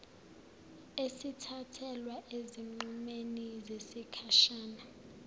esithathelwa ezinqumeni zesikhashana